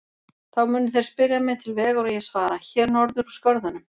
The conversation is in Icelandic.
Þá munu þeir spyrja mig til vegar og ég svara: Hér norður úr skörðunum.